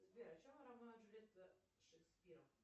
сбер о чем ромео и джульетта шекспира